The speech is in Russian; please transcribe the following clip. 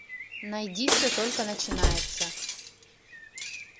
найди все только начинается